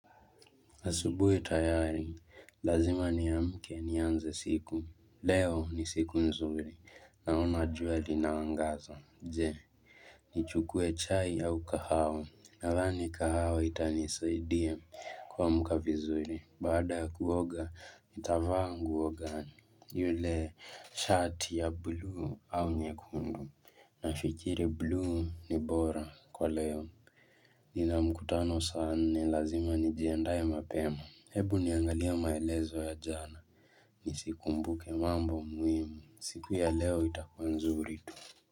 Asubuhi tayari, lazima niamke nianze siku, leo ni siku nzuri, naona jua linaangaza, je, nichukue chai au kahawa, nadhani kahawa itanisaidie kuamka vizuri, bada kuoga, nitavaa nguo gani, yule shati ya blue au nyekundu, nafikiri blue ni bora kwa leo. Nina mkutano saa nne, lazima nijiandaa mapema. Hebu niangalia maelezo ya jana Nisikumbuke mambo muhimu. Siku ya leo itakuwa nzuri tu.